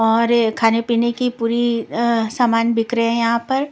और खाने पीने की पूरी अ सामान बिक रहे हैं यहाँ पर --